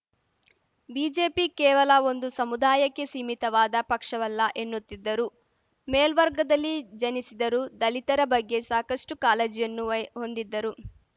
BJP ಕೇವಲ ಒಂದು ಸಮುದಾಯಕ್ಕೆ ಸಿಮೀತವಾದ ಪಕ್ಷವಲ್ಲ ಎನ್ನುತ್ತಿದ್ದರು ಮೇಲ್ವರ್ಗದಲ್ಲಿ ಜನಿಸಿದರೂ ದಲಿತರ ಬಗ್ಗೆ ಸಾಕಷ್ಟುಕಾಲಜಿಯನ್ನು ಹೊಂದಿದ್ದರು